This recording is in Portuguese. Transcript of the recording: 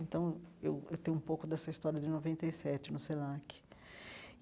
Então, eu eu tenho um pouco dessa história de noventa e sete no Senac.